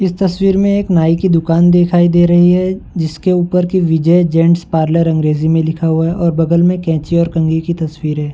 इस तस्वीर में एक नाई की दुकान दिखाई दे रही है जिसके ऊपर कि विजय जैंट्स पार्लर अंग्रेजी मे लिखा हुआ है और बगल मे कैंची और कंघी की तस्वीर है।